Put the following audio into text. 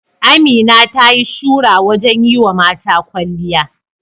Amina ta yi shura wajen yi wa mata kwalliya.